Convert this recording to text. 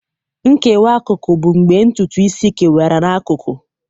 Nkewa akụkụ bụ mgbe ntutu isi kewara n'akụkụ.